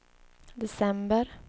december